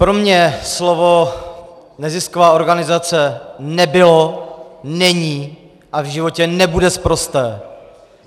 Pro mě slovo nezisková organizace nebylo, není a v životě nebude sprosté.